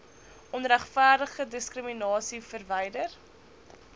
onregverdige diskriminasie verwyder